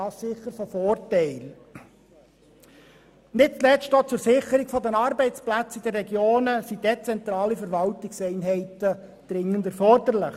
Nicht zuletzt auch zur Sicherung der Arbeitsplätze in den Regionen sind dezentrale Verwaltungseinheiten dringend erforderlich.